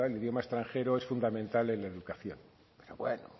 idioma extranjero es fundamental en la educación pero bueno